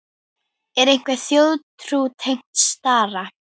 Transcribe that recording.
Er einhver þjóðtrú tengd stara?